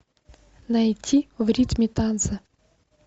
найти в ритме танца